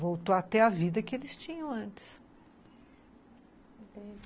Voltou a ter a vida que eles tinham antes, entendi